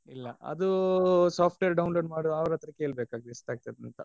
ಇಲ್ಲ ಅದು software download ಮಾಡುವವ್ರತ್ರ ಕೇಳ್ಬೇಕಾಗ್ತದೆ ಎಷ್ಟ್ ಆಗತ್ತಂತ.